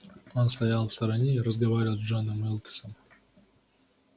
он стоял в стороне и разговаривал с джоном уилксом